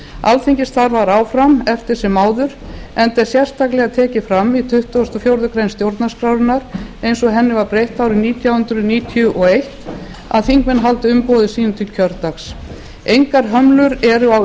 fyrr alþingi starfar áfram eftir sem áður enda er sérstaklega tekið fram í tuttugasta og fjórðu grein stjórnarskrárinnar eins og henni var breytt árið nítján hundruð níutíu og eitt að þingmenn haldi umboði sínu til kjördags engar hömlur eru á